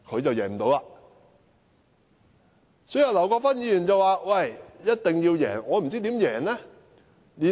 對於劉國勳議員說一定要贏，我真的不知道他有何方法。